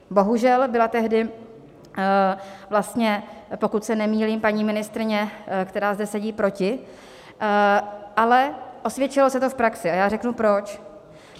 Bohužel byla tehdy vlastně, pokud se nemýlím, paní ministryně, která zde sedí, proti, ale osvědčilo se to v praxi, a já řeknu, proč.